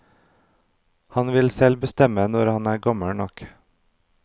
Han vil selv bestemme når han er gammel nok.